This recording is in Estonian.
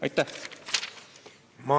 Aitäh!